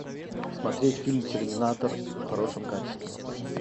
смотреть фильм терминатор в хорошем качестве